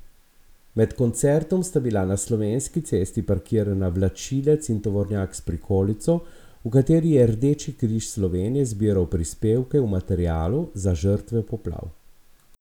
Med koncertom sta bila na Slovenski cesti parkirana vlačilec in tovornjak s prikolico, v katerih je Rdeči križ Slovenije zbiral prispevke v materialu za žrtve poplav.